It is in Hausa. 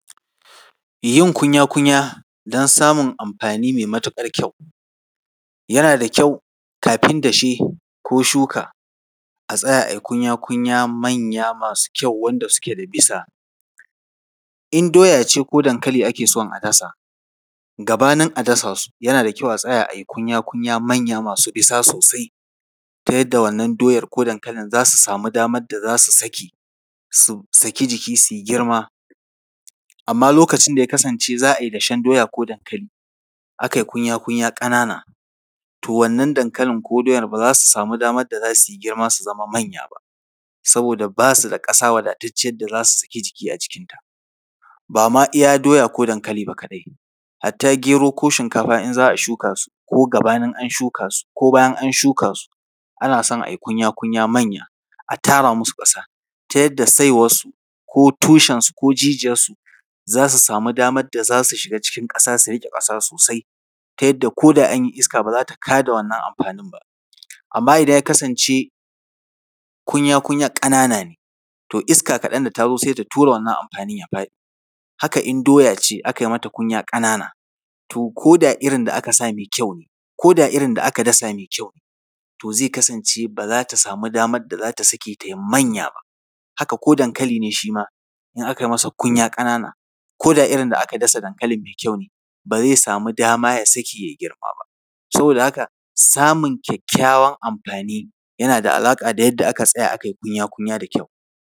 Yin kunya-kunya don samun amfani mai matuƙar kyau, yana da kyau kafin dashe ko shuka, a tsaya a yi kunya-kunya manya masu kyau, wanda suke da bisa. In doya ce ko dankali ake son a dasa, gabanin a dasa su, yana da kyau a yi kunya-kunya manya masu bisa sosai, ta yadda wannan doyar ko dankalin za su samu damar da za su saki, su saki jiki, su yi girma. Amma lokacin da ya kasance za a yi dashen doya ko dankali, aka yi kunya-kunya ƙanana, to wannan dankalin ko doyar, ba za su samu damar da za su yi girma, su zama manya ba. Saboda ba su da ƙasa wadatacciyar da za su saki jiki a cikinta. Ba ma iya doya ko dankali ba kaɗai, hatta gero ko shinkafa in za a shuka su, ko gabanin an shuka su ko bayan an shuka su, ana son a yoi kunya-kunya manya, a tara musu ƙasa, ta yadda saiwarsu ko tushensu ko jijiyarsu, za su samu damar da za su shiga cikin ƙasa su riƙe ƙasa sosai, ta yadda ko da an yi iska, ba za ta ka da wannan amfanin ba. Amma idan ya kasance kunya-kunyar ƙanana ne, to iska kaɗan idan ta zo, sai ta ture wannan amfanin, ya faɗi. haka in doya ce aka yi mata kunya ƙanana, to ko da irin da aka sa mai kyau ne, ko da irin da aka dasa mai kyau ne, to zai kasance ba za ta samu damar da za ta sake, ta yi manya ba. Haka ko dankali ne shi ma, in aka yi masa kunya ƙanana, ko da irin da aka dasa dankalin mai kyau ne, ba zai samu dama ya saki ya yi girma ba. Saboda haka, samun kyakkyawan amfani, yana da alaƙa da yadda aka tsaya aka yi kunya-kunya da kyau.